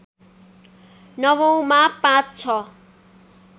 नवौँमा ५६